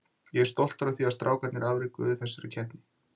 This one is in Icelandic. Ég er ótrúlega stoltur af því sem strákarnir afrekuðu í þessari undankeppni.